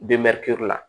la